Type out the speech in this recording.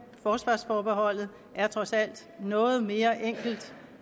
forsvarsforbeholdet er trods alt noget mere enkelt